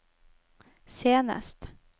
senest